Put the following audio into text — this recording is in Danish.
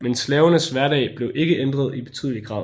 Men slavernes hverdag blev ikke ændret i betydelig grad